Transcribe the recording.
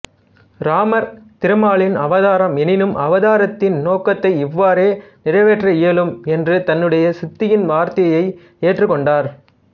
இராமர் திருமாலின் அவதாரம் எனினும் அவதாரத்தின் நோக்கத்தை இவ்வாறே நிறைவேற்ற இயலும் என்று தன்னுடைய சித்தியின் வார்த்தையை ஏற்றுக்கொண்டார்